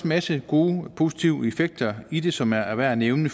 masse gode positive effekter i det som er er værd at nævne